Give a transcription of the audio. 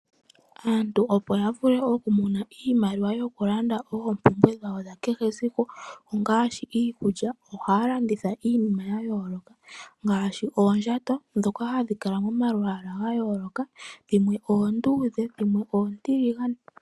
Aantu opo ya vule okumona iimaliwa yokulanda oompumbwe dhawo dha kehe esiku ngaashi iikulya. Ohaya landitha iinima ya yooloka ngaashi oondjato ndhoka hadhi kala momalwala ga yooloka dhimwe oonduudhe dhimwe oontiligane.